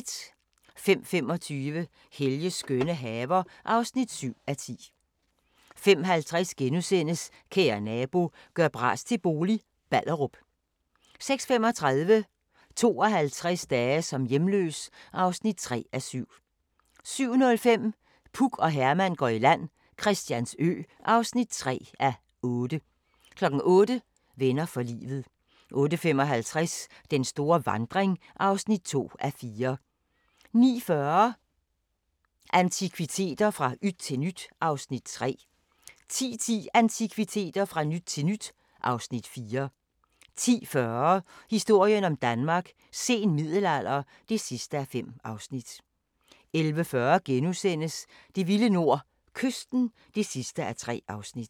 05:25: Helges skønne haver (7:10) 05:50: Kære nabo – gør bras til bolig – Ballerup * 06:35: 52 dage som hjemløs (3:7) 07:05: Puk og Herman går i land - Christiansø (3:8) 08:00: Venner for livet 08:55: Den store vandring (2:4) 09:40: Antikviteter – fra yt til nyt (Afs. 3) 10:10: Antikviteter – fra yt til nyt (Afs. 4) 10:40: Historien om Danmark: Sen middelalder (5:5) 11:40: Det vilde nord - kysten (3:3)*